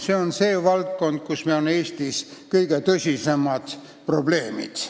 Selles valdkonnas on Eestis kõige tõsisemad probleemid.